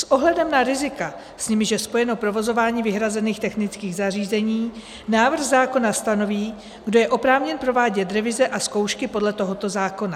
S ohledem na rizika, s nimiž je spojeno provozování vyhrazených technických zařízení, návrh zákona stanoví, kdo je oprávněn provádět revize a zkoušky podle tohoto zákona.